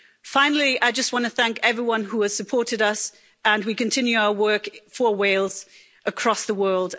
Finally, I just want to thank everyone who has supported us, and we continue our work for Wales across the world.